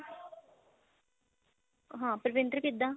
ਹਾਂ ਪਰਵਿੰਦਰ ਕਿੱਦਾਂ